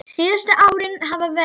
Síðustu árin hafa verið erfið.